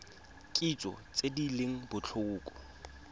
kitso tse di leng botlhokwa